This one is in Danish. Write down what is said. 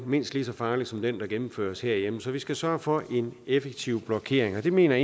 mindst lige så farlig som den der gennemføres herhjemme så vi skal sørge for en effektiv blokering og det mener